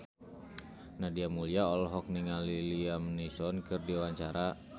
Nadia Mulya olohok ningali Liam Neeson keur diwawancara